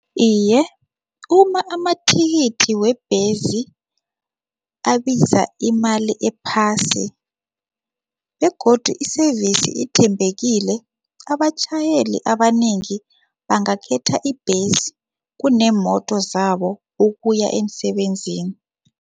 Iye, uma amathikithi webhesi abiza imali ephasi begodu i-service ithembekile, abatjhayeli abanengi bangakhetha ibhesi kunemoto zabo ukuya emsebenzini.